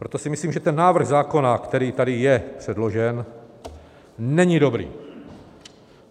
Proto si myslím, že ten návrh zákona, který tedy je předložen, není dobrý.